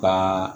Ka